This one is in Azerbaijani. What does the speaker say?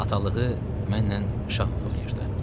Atalığı mənlə şahmot oynayırdı.